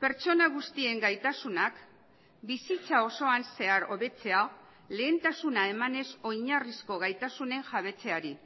pertsona guztien gaitasunak bizitza osoan zehar hobetzea lehentasuna emanez oinarrizko gaitasunen jabetzeari